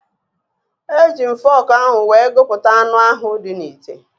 Eji m fọọkụ ahụ wee gụpụta anụ ahụ dị n'ite.